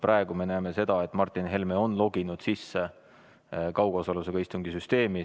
Praegu me näeme seda, et Martin Helme on loginud sisse kaugosalusega istungi süsteemi.